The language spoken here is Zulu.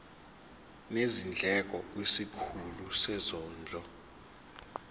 nezindleko kwisikhulu sezondlo